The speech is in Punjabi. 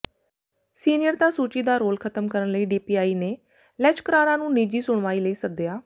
ਸੀਨੀਅਰਤਾ ਸੂਚੀ ਦਾ ਰੋਲ ਖ਼ਤਮ ਕਰਨ ਲਈ ਡੀਪੀਆਈ ਨੇ ਲੈਚਕਰਾਰਾਂ ਨੂੰ ਨਿੱਜੀ ਸੁਣਵਾਈ ਲਈ ਸੱਦਿਆ